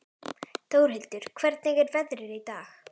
Þórhildur, hvernig er veðrið í dag?